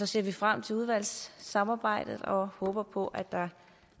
ser frem til udvalgssamarbejdet og håber på at der